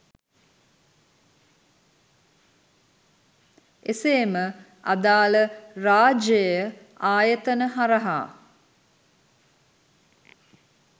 එසේම අදාල රාජ්‍යය ආයතන හරහා